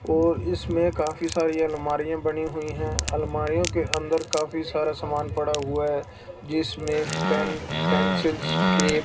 और इसमें काफी सारी अलमारियां बनी हुई हैं आलमारियों के अंदर काफी सारा सामान पड़ा हुआ हैं जिसमें पेन पेंसिल्स स्टेप --